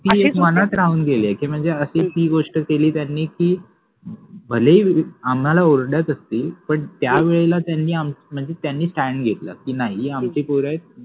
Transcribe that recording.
हि एक मनात राहुन गेलि कि मनजे अशि ति एक गोष्ट केलि त्यानि कि भलेहि आम्हाला ओरडत असतिल पन त्यावेळेला त्यानि आमच मंजे स्टॅन्ड घेतल कि नाहि हे आमचि पोर आहेत.